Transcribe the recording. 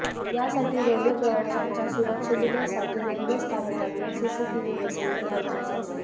यासाठी रेल्वे प्रवाशांच्या सुरक्षितेसाठी रेल्वे स्थानकांवर सीसीटीव्ही बसविणे गरजेचे असते